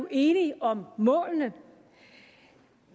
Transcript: enige om målene